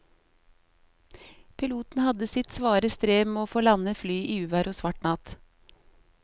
Piloten hadde sitt svare strev med å få landet flyet i uvær og svart natt.